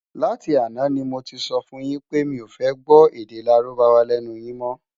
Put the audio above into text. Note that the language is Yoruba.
Láti àná ni mó ti sòfún yin pé mi ó fè gbò èdè Lárúbáwá lènú yin mò